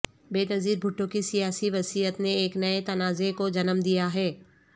بینظیر بھٹو کی سیاسی وصیت نے ایک نئے تنازعے کو جنم دیا ہے